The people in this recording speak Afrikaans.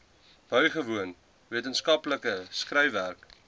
bygewoon wetenskaplike skryfwerk